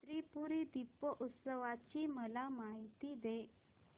त्रिपुरी दीपोत्सवाची मला माहिती दे